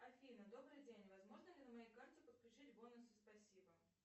афина добрый день возможно ли на моей карте подключить бонусы спасибо